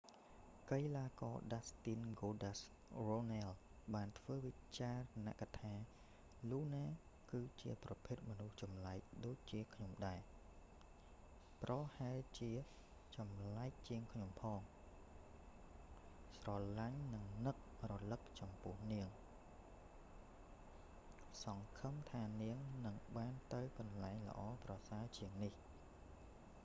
កីឡា​ករ​ dustin goldust” runnels បាន​ធ្វើ​វិចារណ៍​ថា luna គឺ​ជា​មនុស្ស​ចម្លែក​ដូចជា​ខ្ញុំដែរប្រហែលជា​ចម្លែង​ជាង​ខ្ញុំ​ផង​ស្រលាញ់និង​នឹករឮក​ចំពោះនាងសង្ឃឹមថានាងនឹងបាន​ទៅ​កន្លែង​ល្អ​ប្រសើរ​ជាង​នេះ​” ។